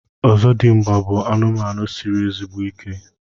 ọzọdịmgba bụ anụmanụ siri ezigbo ike.